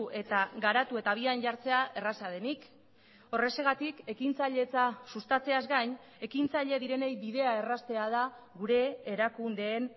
eta garatu eta habian jartzea erraza denik horrexegatik ekintzailetza sustatzeaz gain ekintzaile direnei bidea erraztea da gure erakundeen